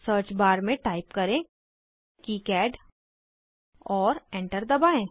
search bar में type करें किकाड और एंटर दबाएं